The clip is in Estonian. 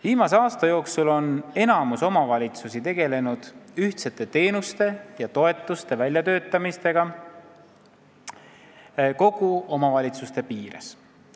Viimase aasta jooksul on enamik omavalitsusi tegelenud ühtsete teenuste ja toetuste väljatöötamistega kogu omavalitsuse piires.